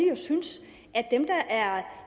synes at dem der er